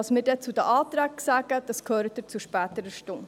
Was wir dann zu den Anträgen sagen, das hören Sie zu späterer Stunde.